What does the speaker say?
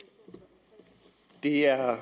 det her er